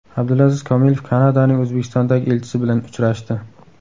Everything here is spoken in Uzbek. Abdulaziz Komilov Kanadaning O‘zbekistondagi elchisi bilan uchrashdi.